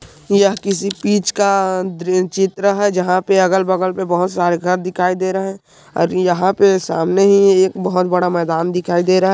यह किसी बीच का द्री चित्र है जंहा पे अगल-बगल पे बहुत सारे घर दिखाई दे रहे है और यंहा पे सामने ही एक बहुत बड़ा मेदान दिखाई दे रहा है।